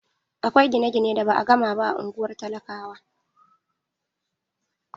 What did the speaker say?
Akwai gine-gine da ba a gama ba a ungwar talakawa.